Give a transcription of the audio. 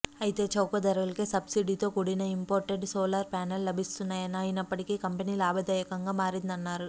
అయితే చౌకధరలకే సబ్సిడీతోకూడిన ఇంపోర్టెడ్ సోలార్ ప్యానెళ్లు లభిస్తున్నా యని అయినప్పటికీ కంపెనీ లాభదాయకంగా మారిందన్నారు